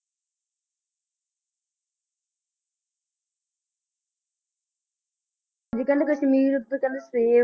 ਵੀ ਕਹਿੰਦੇ ਕਸ਼ਮੀਰ ਤਾਂ ਕਹਿੰਦੇ ਸੇਬ